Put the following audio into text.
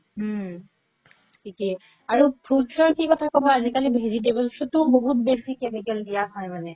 উম থিকে আৰু fruits ৰ কি কথা কি কবা আজি কালি vegetables ও বহুত বেচি chemical দিয়া হয় মানে